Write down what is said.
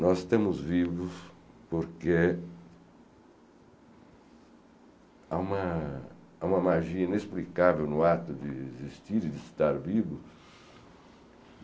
Nós estamos vivos porque há uma há uma magia inexplicável no ato de existir e de estar vivo.